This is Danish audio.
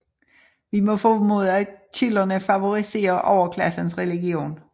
Vi må formode at kilderne favoriserer overklassens religion